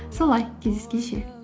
солай кездескенше